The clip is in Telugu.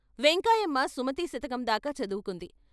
వెంకాయమ్మ సుమతీ శతకందాకా చదువుకుంది.